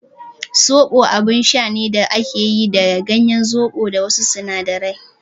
soɓo abin sha ne da ake yi da ganyen zoɓo da wasu sinadarai.